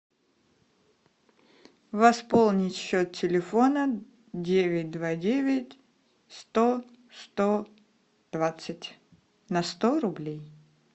восполнить счет телефона девять два девять сто сто двадцать на сто рублей